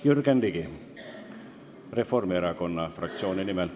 Jürgen Ligi Reformierakonna fraktsiooni nimel.